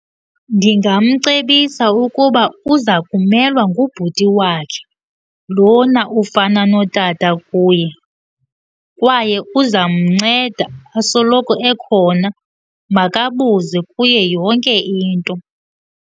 Ndingamcebisa ukuba uza kumelwa ngubhuti wakhe lona ufana notata kuye kwaye uzamnceda asoloko ekhona, makabuze kuye yonke into.